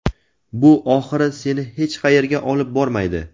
Bu oxiri seni hech qayerga olib bormaydi.